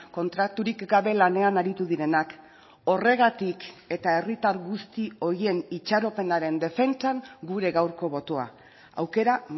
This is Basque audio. kontraturik gabe lanean aritu direnak horregatik eta herritar guzti horien itxaropenaren defentsan gure gaurko botoa aukera